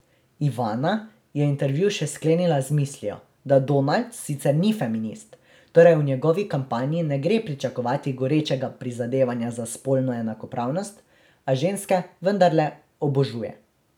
Ivana je intervju še sklenila z mislijo, da Donald sicer ni feminist, torej v njegovi kampanji ne gre pričakovati gorečega prizadevanja za spolno enakopravnost, a ženske vendarle obožuje.